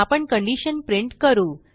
आपण condition print करू